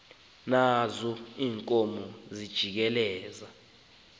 nazo iinkomo zijikeleza